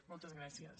moltes gràcies